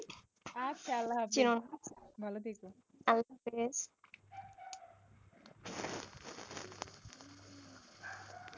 আচ্ছা আল্লাহ হাফেজ ভালো থেকো